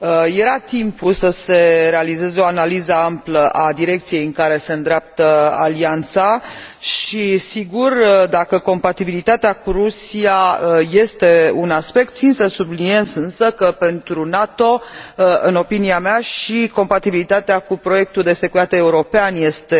Era timpul să se realizeze o analiză amplă a direcției în care se îndreaptă Alianța și, sigur, dacă compatibilitatea cu Rusia este un aspect, țin să subliniez însă că pentru NATO, în opinia mea, și compatibilitatea cu proiectul de securitate european este